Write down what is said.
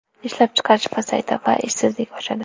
Ishlab chiqarish pasayadi va ishsizlik oshadi.